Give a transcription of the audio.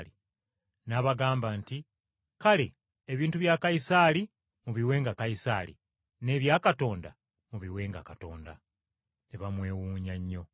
N’abagamba nti, “Kale ebintu bya Kayisaali mubiwenga Kayisaali n’ebya Katonda, mubiwenga Katonda!” Ne bamwewuunya nnyo.